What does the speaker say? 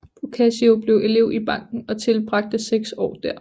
Boccaccio blev elev i banken og tilbragte seks år der